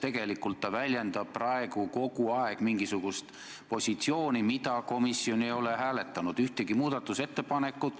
Tegelikult ta väljendab praegu kogu aeg mingisugust positsiooni, mida komisjon ei ole hääletanud.